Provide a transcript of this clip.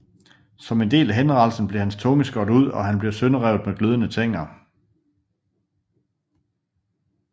Som en del af henrettelsen blev hans tunge skåret ud og han blev sønderrevet med glødende tænger